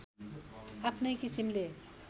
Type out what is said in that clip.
आफ्नै किसिमले